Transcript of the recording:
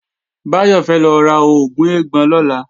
Báyọ̀ fẹ́ lọ ra oògùn eégbọn lọ́la